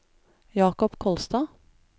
Jacob Kolstad